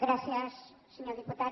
gràcies senyor diputat